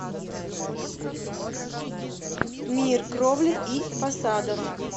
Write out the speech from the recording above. мир кровли и фасадов